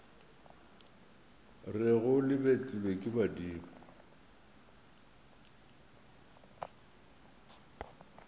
rego le betlilwe ke badimo